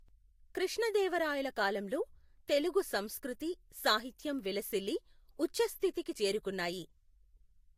కృష్ణదేవరాయల కాలంలో తెలుగు సంస్కృతి, సాహిత్యం విలసిల్లి, ఉచ్ఛస్థితికి చేరుకున్నాయి.